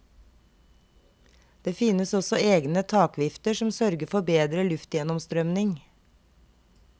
Det finnes også egne takvifter som sørger for bedre luftgjennomstrømning.